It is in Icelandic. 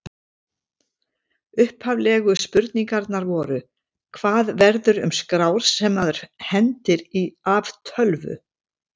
Upphaflegu spurningarnar voru: Hvað verður um skrár sem maður hendir af tölvu?